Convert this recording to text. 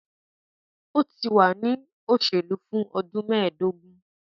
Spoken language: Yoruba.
O ti wa ni oselu fun ọdun meedogun